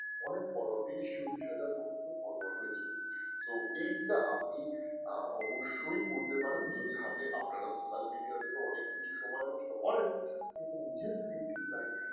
অনেক follower ত্রিশ-চল্লিশ হাজার পর্যন্ত follower রয়েছে তো এইটা আপনি অবশ্যই করতে পারেন যদি হাতে আপনার social media থেকে তো অনেক কিছু সময় নষ্ট করেন কিন্তু নিজের creative line